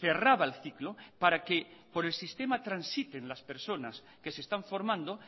cerraba el ciclo para que por el sistema transiten las personas que se están formando